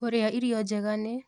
Kũrĩa irio njega nĩ